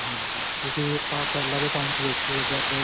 ਹਾਂਜੀ ਕਿਉਂਕਿ ਆਪਾਂ ਪਹਿਲਾਂ ਦੇ time ਚ ਦੇਖੀਏ ਜਦ